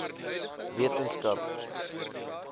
wetenskap